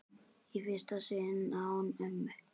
Í fyrsta sinn án mömmu.